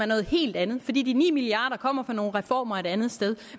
noget helt andet fordi de ni milliard kroner kommer fra nogle reformer et andet sted